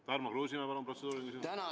Tarmo Kruusimäe, palun, protseduuriline küsimus!